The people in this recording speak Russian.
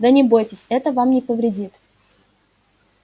да не бойтесь это вам не повредит